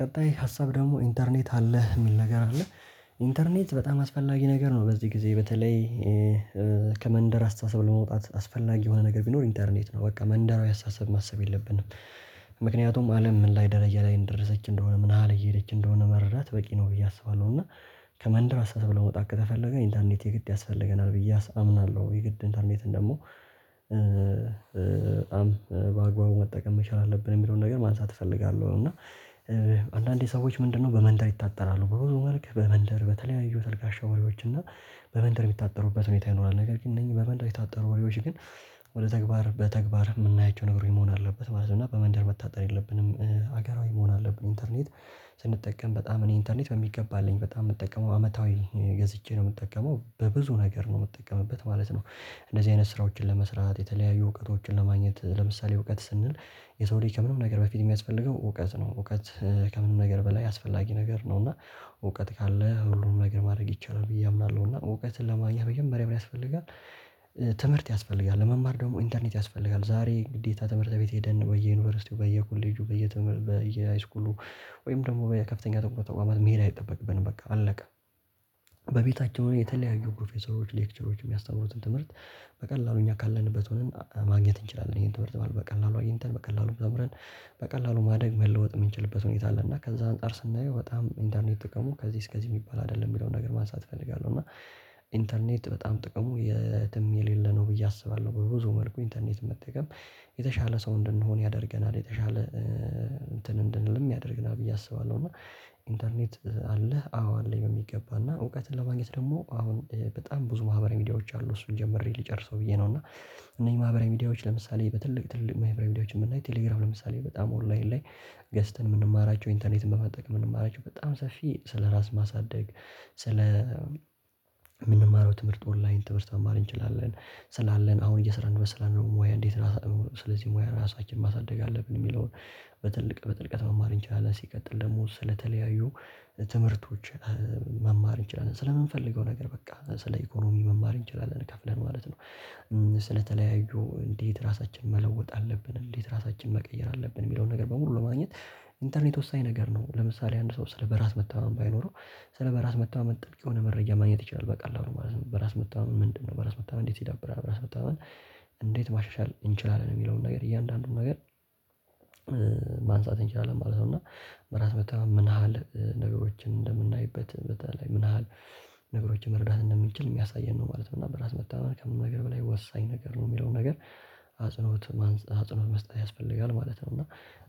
ቀጣይ ሀሳብ ደግሞ ኢንተርኔት አለህ የሚል ነገር አለ። ኢንተርኔት በጣም አስፈላጊ ነገር ነው በዚህ ጊዜ በተለይ ከመንደር አስተሳሰብ ለመውጣት አስፈላጊ የሆነ ነገር ቢኖር ኢንተርኔት ነው። በቃ መንደራዊ አስተሳሰብ ማሰብ የለብንም። ምክንያቱም አለም ምን ላይ ደረጃ ላይ እንደደረሰች እንደሆነ ምንያህል እየሄደች እንደሆነ መረዳት በቂ ነው። ብዬ አስባለሁ እና ከመንደር አስተሳሰብ ለመውጣት ከተፈለገ ኢንተርኔት የግድ ያስፈልገናል ብዬ አምናለሁ። የግድ ኢንተርኔትን ደግሞ በአግባቡ መጠቀም መቻል አለብን የሚለውን ነገር ማንሳት እፈልጋለሁ። እና አንዳንዴ ሰዎች ምንድነው በመንደር ይታጠራሉ በሆነ መልክ በመንደር በተለያዩ ተልካሻ ወሬዎች እና በመንደር የሚታጠሩበት ሁኔታ ይኖራል ነገር ግን እነኚህ በመንደር የታጠሩ ወሬዎች ግን ወደ ተግባር በተግባር የምናያቸው ነገሮች መሆን አለበት ማለት ነው። እና በመንደር መታጠር የለብንም ሀገራዊ መሆን አለብን። ኢንተርኔት ስንጠቀም በጣም እኔ ኢንተርኔት በሚገባ አለኝ በጣም የምጠቀመው አመታዊ ገዝቼ ነው የምጠቀመው በብዙ ነገር ነው የምጠቀምበት ማለት ነው። እንደዚህ አይነት ስራዎችን ለመስራት የተለያዩ እውቀቶችን ለማግኘት ለምሳሌ እውቀት ስንል የሰው ልጅ ከምንም ነገር በፊት የሚያስፈልገው እውቀት ነው። እውቀት ከምንም ነገር በላይ አስፈላጊ ነገር ነው። እና እውቀት ካለ ሁሉንም ነገር ማድረግ ይቻላል ብዬ አምናለሁ። እና እውቀትን ለማግኘት መጀመሪያ ምን ያስፈልጋል? ትምህርት ያስፈልጋል ለመማር ደግሞ ኢንተርኔት ያስፈልጋል። ዛሬ ግዴታ ትምህርት ቤት ሄደን በየዩኒቨርሲቲው በየኮሌጁ በየተመር በየሃይስኩሉ ወይም ደግሞ በየከፍተኛ ተቋማት መሄድ አይጠበቅብንም በቃ አለቀ። በቤታችን የሆነ የተለያዩ ፕሮፌሰሮች ሌክቸሮች የሚያስተምሩትን ትምህርት በቀላሉ እኛ ካለንበት ሆነን ማግኘት እንችላለን ይሄን ትምህርት ማለት ነው። በቀላሉ በቀላሉ ተምረን በቀላሉ ማደግ መለወጥ የምንችልበት ሁኔታ አለ። እና ከዛ አንፃር ስናየው በጣም ኢንተርኔት ጥቅሙ ከዚህ እስከዚህ የሚባል አይደለም የሚለውን ነገር ማንሳት እፈልጋለሁ። እና ኢንተርኔት በጣም ጥቅሙ የትም የሌለ ነው ብዬ አስባለሁ። በብዙ መልኩ ኢንተርኔት መጠቀም የተሻለ ሰው እንድንሆን ያደርገናል። የተሻለ እንትን እንድንልም ያደርገናል ብዬ አስባለሁ። እና ኢንተርኔት አለህ አዎ አለኝ በሚገባና እውቀትን ለማግኘት ደግሞ አሁን በጣም ብዙ ማህበረ ሚዲያዎች አሉ እሱን ጀምሬ ልጨርሰው ብዬ ነው። እና እነዚህ ማህበራዊ ሚዲያዎች ለምሳሌ በትልቅ ትልቅ ማህበራዊ ቪዲያዎችን ብናይ ቴሌግራም ለምሳሌ በጣም ኦንላይን ላይ ገዝተን የምንማራቸው ኢንተርኔት በመጠቀም የምንማራቸው በጣም ሰፊ ስለራስ ማሳደግ ስለ የምንማረው ትምህርት ኦንላይን ትምህርት መማር እንችላለን። ስላለን አሁን እየሰራን እንመስላለን ሙያ እንዴት ስለዚህ ሙያ ራሳችንን ማሳደግ አለብን። የሚለውን በትልቅ በጥልቀት መማር እንችላለን። ሲቀጥል ደግሞ ስለተለያዩ ትምህርቶች መማር እንችላለን። ስለምንፈልገው ነገር በቃ ስለ ኢኮኖሚ መማር እንችላለን ከፍለን ማለት ነው። ስለተለያዩ እንዴት ራሳችንን መለወጥ አለብን እንዴት ራሳችንን መቀየር አለብን። የሚለውን ነገር በሙሉ ለማግኘት ኢንተርኔት ወሳኝ ነገር ነው። ለምሳሌ አንድ ሰው ስለ በራስ መተማመን ባይኖረው ስለ በራስ መታመን ጥልቅ የሆነ መረጃ ማግኘት ይችላል በቀላሉ ማለት ነው። በራስ መተማመን ምንድነው? በራስ መተማመን እንዴት ይዳብራል? በራስ መተማመን እንዴት ማሻሻል እንችላለን? የሚለውን ነገር እያንዳንዱን ነገር ማንሳት እንችላለን ማለት ነው። እና በራስ መተማመን ምን ያህል ነገሮችን እንደምናይበት በተለይ ምን ያህል ነገሮችን መረዳት እንደምንችል የሚያሳየን ነው ማለት ነው። እና በራስ መተማመን ከምንም ነገር በላይ ወሳኝ ነገር ነው። የሚለው ነገር አጽኖት አጽኖት መስጠት ያስፈልጋል ማለት ነው። እና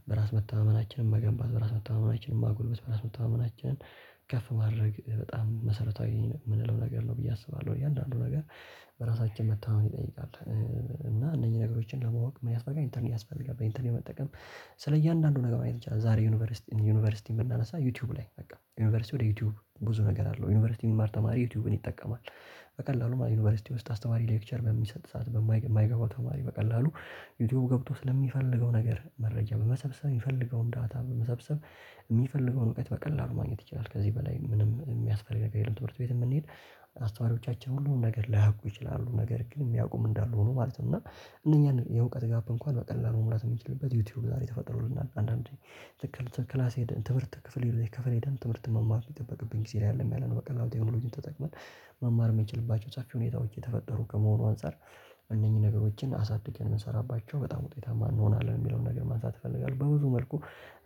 በራስ መተማመናችንን መገንባት በራስ መተማመናችንን ማጎልበት በራስ መተማመናችንን ከፍ ማድረግ በጣም መሰረታዊ የምንለው ነገር ነው ብዬ አስባለሁ። እያንዳንዱ ነገር በራሳችን መተማመን ይጠይቃል። እና እነኚህ ነገሮችን ለማወቅ ምን ያስፈልጋል ኢንተርኔት ያስፈልጋል። በኢንተርኔት መጠቀም ስለ እያንዳንዱ ነገር ማየት ይቻላል። ዛሬ ዩኒቨርሲቲ ዩኒቨርሲቲ ብናነሳ ዩቲዩብ ላይ በቃ ዩኒቨርሲቲ ወደ ዩቲዩብ ብዙ ነገር አለው ዩኒቨርሲቲ የሚማር ተማሪ ዩቲዩብን ይጠቀማል። በቀላሉ ዩኒቨርሲቲ ውስጥ አስተማሪ ሌክቸር በሚሰጥ ሰዓትጨ በማይገ ማይገባው ተማሪ በቀላሉ ዩቲዩብ ገብቶ ስለሚፈልገው ነገር መረጃ በመሰብሰብ የሚፈልገውን ዳታ በመሰብሰብ የሚፈልገውን እውቀት በቀላሉ ማግኘት ይችላል። ከዚህ በላይ ምንም የሚያስፈልግ ነገር የለም። ትምህርት ቤትም ብንሄድ አስተዋሪዎቻችን ሁሉን ነገር ላያውቁ ይችላሉ ነገር ግን የሚያውቁም እንዳሉ ሆኖ ማለት ነው። እና እነኛን የእውቀት ጋፕ እንኳን በቀላሉ መሙላት የሚችሉበት ዩቲዩብ ዛሬ ተፈጥሮልናል። አንዳንዴ ልክ ክላስ ሆደን ትምህርት ክፍል የሄደን ትምህርት መማር የሚጠበቅብኝ ጊዜ ላይ አደለም። ያለን በቀላሉ ቴክኖሎጂን ተጠቅመን መማር የምንችልባቸው ሰፊ ሁኔታዎች የተፈጠሩ ከመሆኑ አንፃር እነኚህን ነገሮችን አሳድገን ብንሰራባቸው በጣም ውጤታማ እንሆናለን። የሚለውን ነገር ማንሳት እፈልጋለሁ በብዙ መልኩ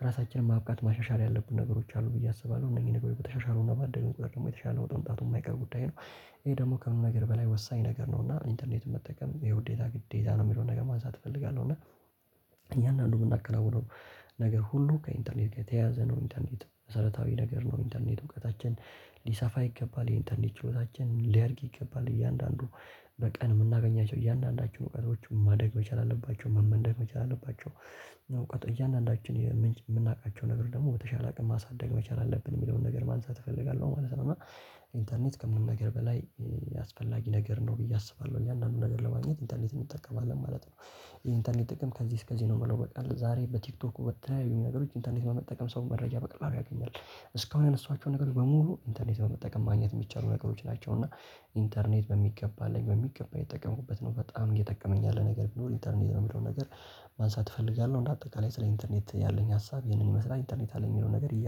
ራሳችንን ማብቃት ማሻሻል ያለብን ነገሮች አሉ ብዬ አስባለሁ። እነዚህን ነገሮች በተሻሻሉና ባደግን ቁጥር ደግሞ የተሻለ ለውጥ መምጣቱ የማይቀር ጉዳይ ነው። ይሄ ደግሞ ከምንም ነገር በላይ ወሳኝ ነገር ነው። እና ኢንተርኔት መጠቀም የውዴታ ግዴታ ነው የሚለውን ነገር ማንሳት እፈልጋለሁ። እና እያንድአንዱ የምናከናውነው ነገር ሁሉ ከኢንተርኔት ከተያዘ ነው። ኢንተርኔት መሰረታዊ ነገር ነው። ኢንተርኔት እውቀታችን ሊሰፋ ይገባል የኢንተርኔት ችሎታችን ሊያድግ ይገባል። እያንዳንዱ በቀን የምናገኛቸው እያንዳንዳቸውን እውቀቶች ማደግ መቻል አለባቸው መመንደግ መቻል አለባቸው። እውቀት እያንዳንዳችን የምንች የምናውቃቸው ነገር ደግሞ በተሻለ አቅም ማሳደግ መቻል አለብን የሚለውን ነገር ማንሳት እፈልጋለሁ ማለት ነው። እና ኢንተርኔት ከምንም ነገር በላይ አስፈላጊ ነገር ነው ብዬ አስባለሁ። እያንዳንዱን ነገር ለማግኘት ኢንተርኔት እንጠቀማለን ማለት ነው። ኢንተርኔት ጥቅም ከዚህ እስከዚህ ነው ምለው በቃ ዛሬ በቲክቶኩ በተያዩ ነገሮች ኢንተርኔት በመጠቀም ሰው መረጃ በቀላሉ ያገኛል። እስካሁን ያነሷቸውን ነገሮች በሙሉ ኢንተርኔት በመጠቀም ማግኘት የሚቻሉ ነገሮች ናቸው። እና ኢንተርኔት በሚገባ አለኝ በሚገባ አየተጠቀምኩበት ነው። በጣም እየጠቀመኝ ያለ ነገር ቢኖር ኢንተርኔት ነው። የሚለውን ነገር ማንሳት እፈልጋለሁ እንደአጠቃላይ ስለ ኢንተርኔት ያለኝ ሀሳብ ይህንን ይመስላል ኢንተርኔት አለኝ የሚለው ነገር